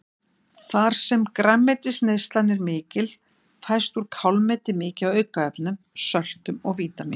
Þar sem grænmetisneyslan er mikil fæst úr kálmeti mikið af aukaefnum, söltum og vítamínum.